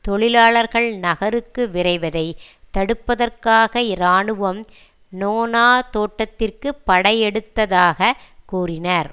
தொழிலாளர்கள் நகருக்கு விரைவதை தடுப்பதற்காக இராணுவம் நோனா தோட்டத்திற்கு படையெடுத்ததாக கூறினர்